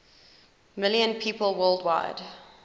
million people worldwide